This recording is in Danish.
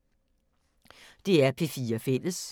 DR P4 Fælles